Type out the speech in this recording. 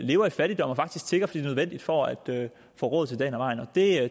lever i fattigdom og faktisk tigger fordi det er nødvendigt for at få råd til dagen og vejen